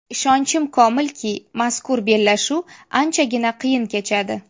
Ishonchim komilki, mazkur bellashuv anchagina qiyin kechadi.